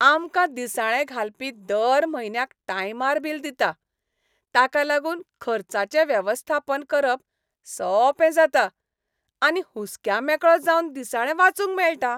आमकां दिसाळें घालपी दर म्हयन्याक टायमार बील दिता. ताका लागून खर्चाचें वेवस्थापन करप सोंपें जाता आनी हुस्क्यामेकळो जावन दिसाळें वाचूंक मेळटा.